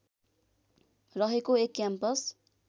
रहेको एक क्याम्पस